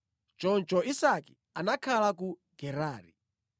Choncho Isake anakhala ku Gerari.